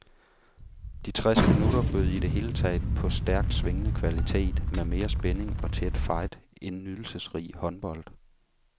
De tres minutter bød i det hele taget på stærkt svingende kvalitet med mere spænding og tæt fight end nydelsesrig håndbold.